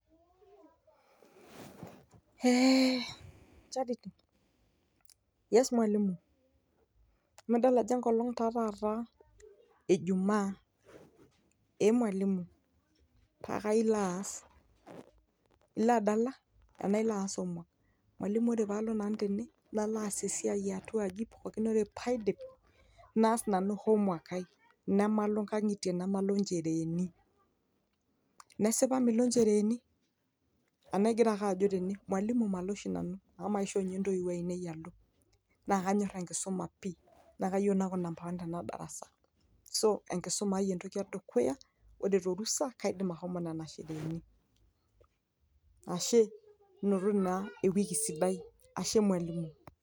ee chariti yes mwalimu amu adol enkol ejumaa duo pakaa ilo aas esiai ana ilo adala , mwalimu ore pee alo ang naa kaas ake esiai ejikoni nalo aas home work, namalo inkangitie namalo inchereeni, nesipa milo inchereeni tenaa igira ake ajo tene mwalimu, malo oshi nanu amu maisho intoiwuo ainei alo, naa kanyo enkisumai pi naa kayieu naaku namba wan tenadarasa.